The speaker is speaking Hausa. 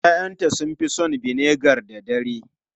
Ya'yanta sun fi son vinegar da dare.